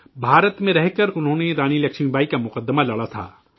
بھارت میں رہ کر انہوں نے رانی لکشمی بائی کا مقدمہ لڑا تھا